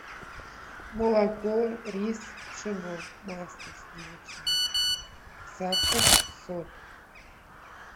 молоко рис пшено масло сливочное сахар соль